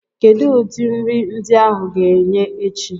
Kedu ụdị nri ndi áhù ga-enye echi?